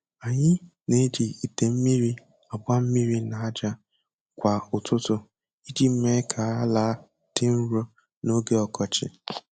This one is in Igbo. Anyị na-eji ite mmiri agba mmiri n'aja kwa ụtụtụ iji mee ka ala dị nro n'oge ọkọchị.